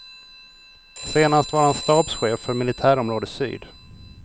Senast var han stabschef för militärområde syd.